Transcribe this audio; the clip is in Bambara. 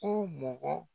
Ko mɔgɔ